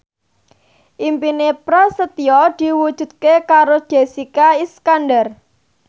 impine Prasetyo diwujudke karo Jessica Iskandar